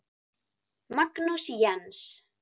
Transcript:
Magnús Jens.